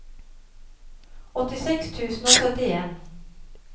åttiseks tusen og syttien